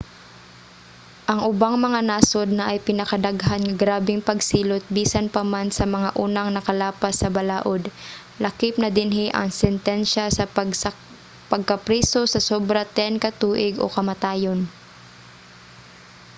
ang ubang mga nasud naay pinakadaghan nga grabeng pagsilot bisan pa man sa mga unang nakalapas sa balaod; lakip na dinhi ang sentinsya sa pagkapriso sa sobra 10 ka tuig o kamatayon